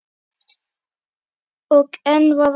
Og enn var ort.